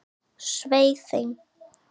Svei þeim!